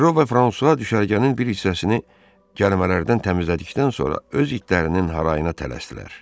Ferro və Fransua düşərgənin bir hissəsini gəlmələrdən təmizlədikdən sonra öz itlərinin harayına tələsdilər.